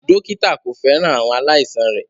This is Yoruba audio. Dókítà kò fẹ́ràn àwọn aláìsàn rẹ̀